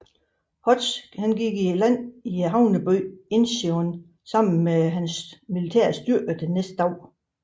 Hodge gik i land i havnebyen Incheon sammen med sine militære styrker næste dag